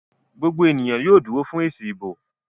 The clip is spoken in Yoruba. gbogbo ènìyàn yóò dúró fún èsì ìbò